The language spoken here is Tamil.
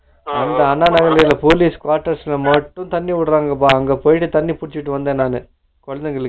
அந்த அண்ணா நகர்ல இருக்குற police quarters ல மட்டும் தண்ணி வுடுரான்கப்பா அங்க போயிட்டு தண்ணி புடுச்சிட்டு வந்தே நானு குழந்தைக்கு